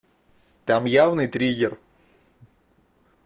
там явный триггер